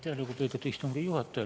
Aitäh, lugupeetud istungi juhataja!